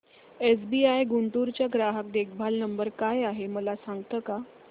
SBI Guntur चा ग्राहक देखभाल नंबर काय आहे मला सांगता का